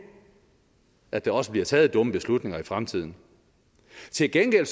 at der også bliver taget dumme beslutninger i fremtiden til gengæld